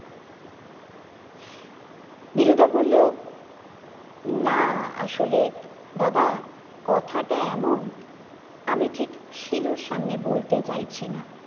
দিনুদা বললো না আসলে দাদা কথাটা এমন আমি ঠিক শিলুর সামনে বলতে চাইছিনা